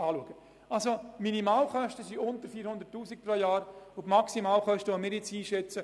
Zusammenfassend gesagt, liegen die Minimalkosten knapp unter 400 000 Franken und die Maximalkosten bei rund 1,4 Mio. Franken.